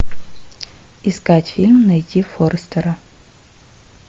искать фильм найти форрестера